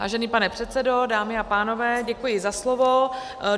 Vážený pane předsedo, dámy a pánové, děkuji za slovo.